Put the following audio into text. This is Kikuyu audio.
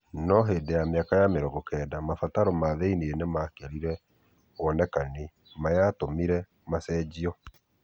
no hĩndĩ ya mĩaka ya mĩrongo kenda mabataro ma thĩinie nĩ makĩrire wonekani ma yatũmire macenio.